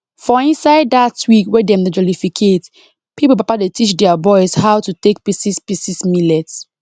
for inside dat week wey dem dey jollificate pipo papa dey teach their boys how to take pieces pieces millet